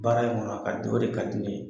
Baara in kɔnɔ a ka di o de ka di ne ye.